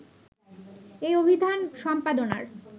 এই অভিধান সম্পাদনার